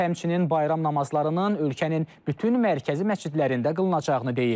O həmçinin bayram namazlarının ölkənin bütün mərkəzi məscidlərində qılınacağını deyib.